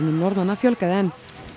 Norðmanna fjölgaði enn